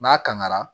N'a kangara